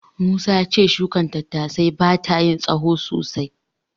Musa ya ce shukar koren tattasai bata yin tsahon sosai.